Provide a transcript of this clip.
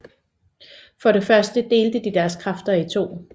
For det første delte de deres kræfter i to